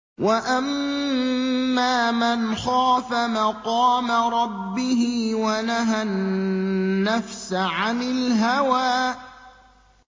وَأَمَّا مَنْ خَافَ مَقَامَ رَبِّهِ وَنَهَى النَّفْسَ عَنِ الْهَوَىٰ